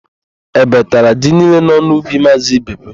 Ébé tara ji niile nọ n'ubi Maazị Ibekwe.